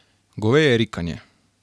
Goveje rikanje.